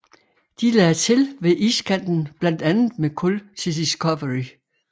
De lagde til ved iskanten blandt andet med kul til Discovery